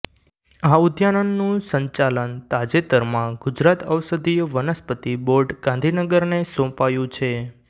આ ઉદ્યાનનુ સંચાલન તાજેતરમાં ગુજરાત ઔષધીય વનસ્પતિ બોર્ડ ગાંધીનગરને સોંપાયુ છે